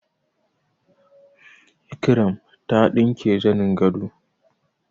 Ikirama ta ɗinke zanin gado